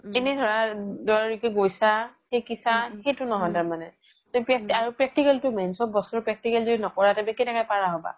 এনে ধোৰা দৌৰা দৌৰি কে গৈছা শিকিচা সেইতো নহয় তাৰমানে আৰু practical তো main চ্'ব বস্তুৰে practical য্দি ন্কৰা তেন্তে কেনেকে পাৰা হ'বা